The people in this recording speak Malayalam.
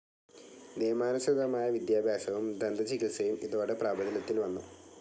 നിയമാനുസൃതമായ വിദ്യാഭ്യാസവും ദന്തചികിത്സയും ഇതോടെ പ്രാബല്യത്തിൽ വന്നു.